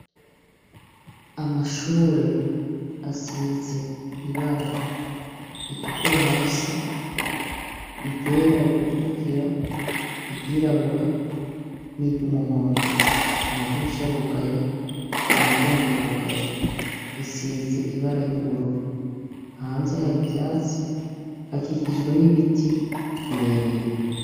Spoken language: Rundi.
Amashure asize ibara ritukura hasi iryera rigakurikira iryirabura n'iryo umuhondo amadirisha arugaye imiryango irugaye isize ibara ry'ubururu hanze hari ivyatsi hakikijwe n'ibiti birebire.